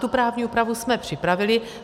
Tu právní úpravu jsme připravili.